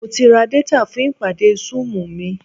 Mo ti ra détà fún ìpàdé súùmù mi